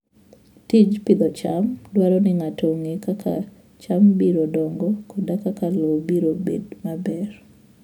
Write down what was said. Tij pidho cham dwaro ni ng'ato ong'e kaka cham biro dongo koda kaka lowo biro bedo maber.